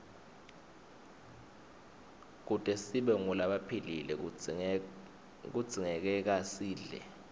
kute sibe ngulabaphilile kudzingekasidle